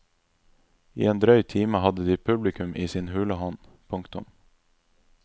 I en drøy time hadde de publikum i sin hule hånd. punktum